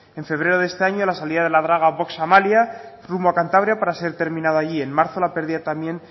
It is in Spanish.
en febrero de este año la salida de la draga vox amalia rumbo a cantabria para ser terminado allí en marzo la pérdida también